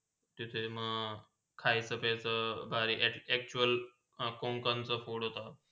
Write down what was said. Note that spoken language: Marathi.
तिथे म खायचा- पियचा बहारही actual कोकंचा food होता.